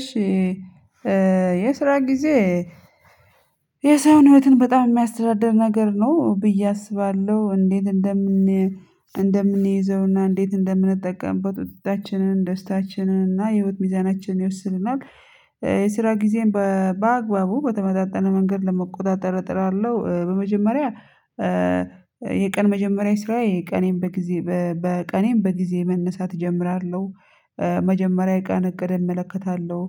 እሺ የስራ ጊዜ የሰዉን ህይወትን በጣም የሚያስተዳድር ነገር ነው ብዬ አስባለሁ እንዴት እንደምን እንደምንይዘውና እንዴት እንደምንጠቀምበት ወጤታችንን ደስታችንን እና የህይወት ሚዛናችንን ይወስንልናል። የስራ ጊዜን በአግባቡ በተመጣጣነ መንገድ ለመቆጣጠር እጥራለሁ። በመጀመሪያ የቀን መጀመሪያ ስራ የቀኔን በጊዜ በቀኔን በጊዜ መነሳት እጀምራለሁ። መጀመሪያ ቀን እቅድ እመለከታለሁ